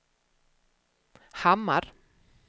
Hammar